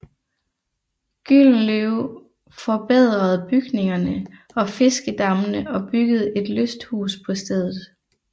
Gyldenløve forbedrede bygningerne og fiskedammene og byggede et lysthus på stedet